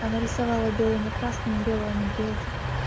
нарисовала белыми красками белого медведя